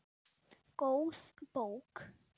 Góð bók.